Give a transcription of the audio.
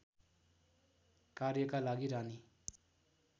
कार्यका लागि रानी